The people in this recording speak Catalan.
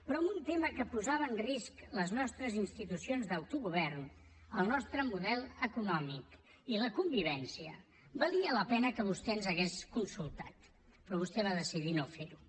però en un tema que posava en risc les nostres institucions d’autogovern el nostre model econòmic i la convivència valia la pena que vostè ens hagués consultat però vostè va decidir no fer ho